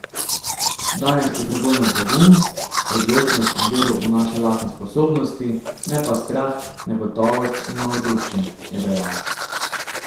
Danes potrebujemo pogum, odločnost in vero v naše lastne sposobnosti, ne pa strah, negotovost in malodušje, je dejal.